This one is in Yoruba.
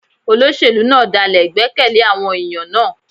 Olóṣèlú náà dálè ìgbẹ́kẹ̀lé àwọn ẹ̀yàn náà.